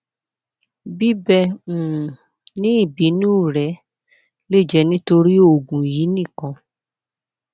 bíbẹ um ni ibinu rẹ le jẹ nitori oogun yii nikan